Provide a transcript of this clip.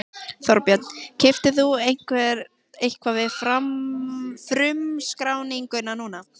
Þorbjörn: Keyptir þú eitthvað við frumskráninguna núna?